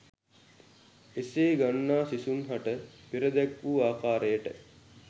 එසේ ගන්නා සිසුන් හට පෙර දැක්වූ ආකාරයට